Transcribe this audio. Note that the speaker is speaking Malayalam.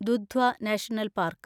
Dudhwa national park